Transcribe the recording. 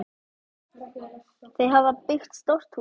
Þau hafa byggt stórt hús.